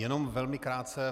Jenom velmi krátce.